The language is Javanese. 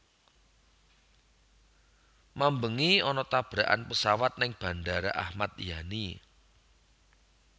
Mambengi ana tabrakan pesawat ning Bandara Ahmad Yani